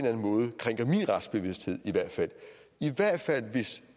anden måde krænker min retsbevidsthed i hvert fald hvis